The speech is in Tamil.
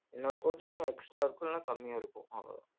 இன்னொரு coating extra இருக்கும் இல்லனா கம்மியா இருக்கும் அவ்ளோதான்